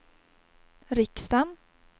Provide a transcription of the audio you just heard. riksdagen